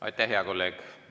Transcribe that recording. Aitäh, hea kolleeg!